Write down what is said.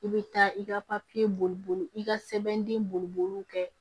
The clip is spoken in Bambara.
I bɛ taa i ka papiye boli boli i ka sɛbɛn boli boliw kɛ